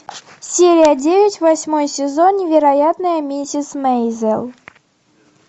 серия девять восьмой сезон невероятная миссис мейзел